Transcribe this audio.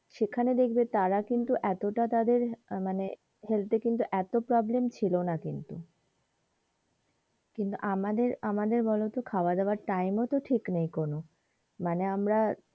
সেখানে দেখবে তারা কিন্তু এতটা তাদের আহ মানে health এর কিন্তু এতো problem ছিল না কিন্তু কিন্তু আমাদের আমাদের বলতো খাবার দাবার এর time ই তো ঠিক নেই কোনো মানে আমরা,